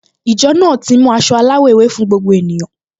Ìjọ náà ti mú aṣọ aláwọ̀ ewé fún gbogbo ènìyàn